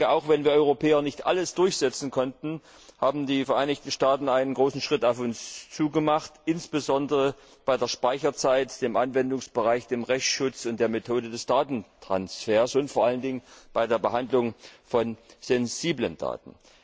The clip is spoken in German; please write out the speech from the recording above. Auch wenn wir Europäer nicht alles durchsetzen konnten, haben die Vereinigten Staaten einen großen Schritt auf uns zu gemacht, insbesondere bei der Speicherzeit, dem Anwendungsbereich, dem Rechtsschutz und der Methode des Datentransfers, und vor allem bei der Behandlung von sensiblen Daten.